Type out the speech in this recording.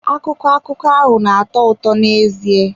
Akụkọ akụkọ ahụ na-atọ ụtọ n'ezie.